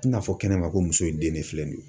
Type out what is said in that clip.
I n'a fɔ kɛnɛ ma, ko muso in den de filɛ nin ye.